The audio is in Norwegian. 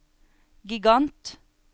gigant